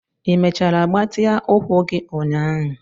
Ị mechara gbatịa ụkwụ gị ụnyaahụ?